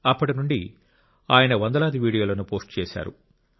అప్పటి నుండి ఆయన వందలాది వీడియోలను పోస్ట్ చేశాడు